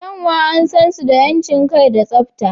Kyanwa an san su da 'yancin kai da tsabta.